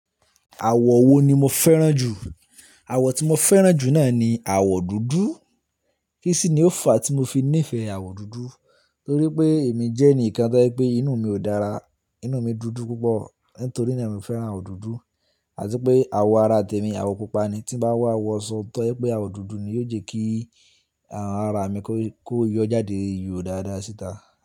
Àwọ̀ wo ni mo fẹ́ràn jù? Àwọ̀ tí mo fẹ́ràn jù náà ni àwọ̀ dúdú. Kí sì ni ó fa tí mo fi nífẹ̀ẹ́ àwọ̀ dúdú? Torí pé èmi jẹ́ ẹnìkan tó jẹ wípé inú mi ò dára, inú mi dúdú púpọ̀. Nítorí náà mo fẹ́ràn àwọ̀ dúdú. Àti pé àwọ̀ ara tèmi, àwọ̀ pupa ni. Tí n bá wá wọ’sọ, tó jẹ wípé àwọ̀ dúdú ni yóò jẹ́ kí, àh, ara mi kó, kó yọ jáde yóò dáadáa síta.